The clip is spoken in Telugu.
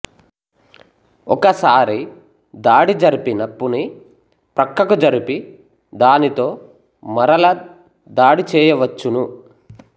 ఒకసారి దాడి జరిపిన నప్పుని ప్రక్కకు జరిపి దానితో మరల దాడి చెయ్యవచ్చును